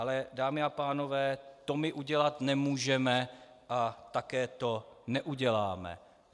Ale dámy a pánové, to my udělat nemůžeme a také to neuděláme.